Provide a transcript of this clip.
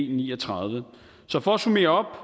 ni og tredive så for at summere